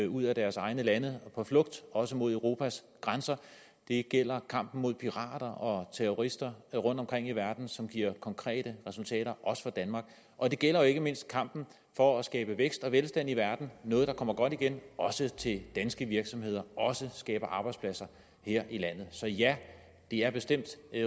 ud af deres egne lande på flugt også mod europas grænser det gælder kampen mod pirater og terrorister rundtomkring i verden som giver konkrete resultater også for danmark og det gælder jo ikke mindst kampen for at skabe vækst og velstand i verden det noget der kommer godt igen også til danske virksomheder og også skaber arbejdspladser her i landet så ja det er bestemt